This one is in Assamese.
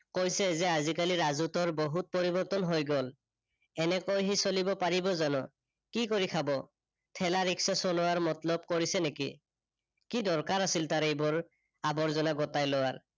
কৈছে যে আজিকালি ৰাজুটোৰ বহুত পৰিৰ্বতন হৈ গল। এনেকৈ সি চলিব পাৰিব জানো? কি কৰি খাব? থেলা, ৰিক্সা চলোৱাৰ মতলব কৰিছে নেকি। কি দৰকাৰ আছিল তাৰ এইবোৰ আৰ্বজনা গোটাই লোৱাৰ।